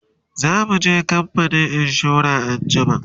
zamuje kamfanin insura anjima